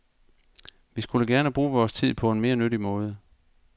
Vi skulle gerne bruge vores tid på en mere nyttig måde.